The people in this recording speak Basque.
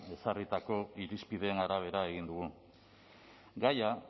ezarritako irizpideen arabera egin dugu gaia